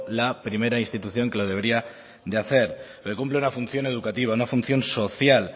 la primera institución que lo debería de hacer porque cumple una función educativa una función social